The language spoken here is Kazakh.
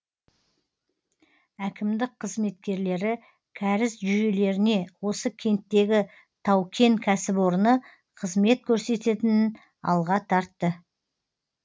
әкімдік қызметкерлері кәріз жүйелеріне осы кенттегі тау кен кәсіпорыны қызмет көрсететінін алға тартты